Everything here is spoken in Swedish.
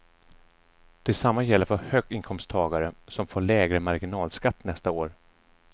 Det samma gäller för höginkomsttagare, som får lägre marginalskatt nästa år.